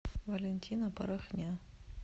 валентина порохня